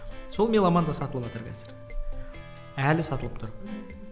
сол меломанда сатылыватыр қазір әлі сатылып тұр мхм